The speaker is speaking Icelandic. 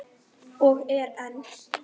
Og er enn.